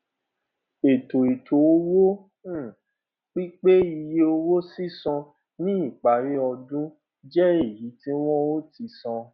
ètò ètò owó pínpín iye owó sísan ní ìparí ọdún jẹ èyí tí wón o tí san